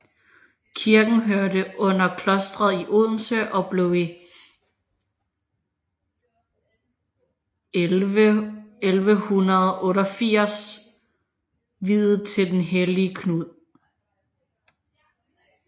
Kirken hørte under klostret i Odense og blev i 1188 viet til den hellige Knud